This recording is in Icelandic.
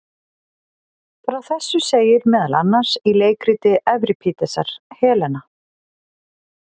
Frá þessu segir meðal annars í leikriti Evripídesar Helena.